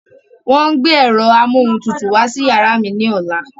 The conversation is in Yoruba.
Wọ́n ń gbé ẹ̀rọ amóhuntutù wá sí yàrá mi ní ọ̀la.